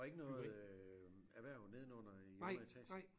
Og ikke noget øh erhverv nedenunder i underetagen?